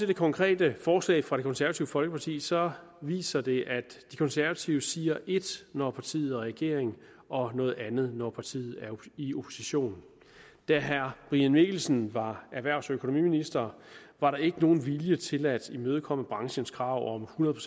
det konkrete forslag fra det konservative folkeparti viser viser det at de konservative siger et når partiet regering og noget andet når partiet er i opposition da herre brian mikkelsen var erhvervs og økonomiminister var der ikke nogen vilje til at imødekomme branchens krav om hundrede